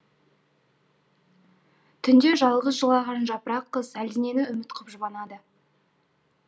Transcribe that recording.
түнде жалғыз жылаған жапырақ қыз әлденені үміт қып жұбанады